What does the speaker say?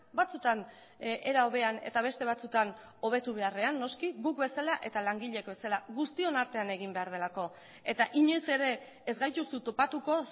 batzutan era hobean eta beste batzutan hobetu beharrean noski guk bezala eta langileek bezala guztion artean egin behar delako eta inoiz ere ez gaituzu topatuko